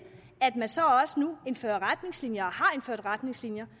at man så også nu indfører retningslinjer og har indført retningslinjer